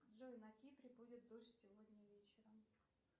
джой на кипре будет дождь сегодня вечером